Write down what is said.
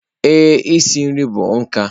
Ee, isi nri bụ nka.